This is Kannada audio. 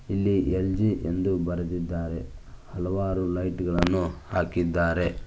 ಇಲ್ಲಿ ಎಲ್_ಜಿ ಎಂದು ಬರೆದಿದ್ದಾರೆ ಹಲವಾರು ಲೈಟ್ ಗಳನ್ನು ಹಾಕಿದ್ದಾರೆ.